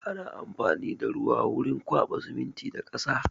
Ana amfani da ruwa wurin kwaɓa siminti da ƙasa.